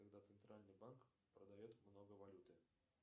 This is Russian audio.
когда центральный банк продает много валюты